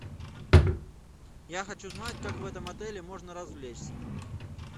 я хочу знать как в этом отеле можно развлечься